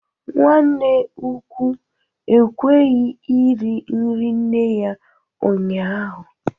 Nwanne ukwu ekweghi iri nri nne ya ụnyahụ